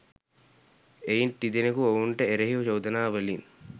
එයින් තිදෙනකු ඔවුන්ට එරෙහි චෝදනාවලින්